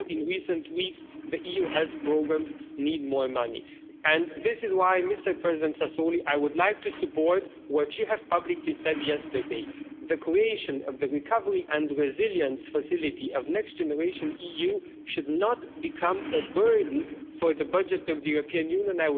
We saw in recent weeks that the EU health programmes need more money, and this is why Mr President Sassoli, I would like to support what you publicly said yesterday the creation of the Recovery and Resilience Facility of Next Generation EU should not become a burden for the budget of the European Union.